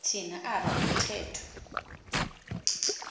thina aba umthetho